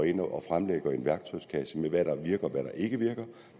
ind og fremlægger en værktøjskasse med hvad der virker og hvad der ikke virker